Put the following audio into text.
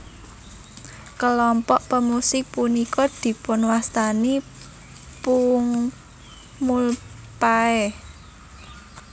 Kelompok pemusik punika dipunwastani pungmulpae